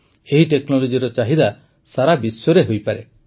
ଏହି ଟେକ୍ନୋଲୋଜିର ଚାହିଦା ସାରା ବିଶ୍ୱରେ ହୋଇପାରେ